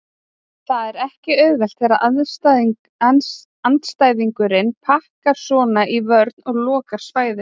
Það er ekki auðvelt þegar andstæðingurinn pakkar svona í vörn og lokar á svæðin.